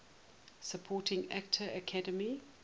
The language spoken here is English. supporting actor academy